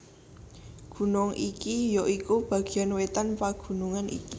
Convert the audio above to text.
Gunung iki ya iku bagéan wétan pagunungan iki